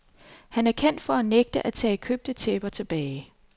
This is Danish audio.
Han er kendt for at nægte at tage købte tæpper tilbage.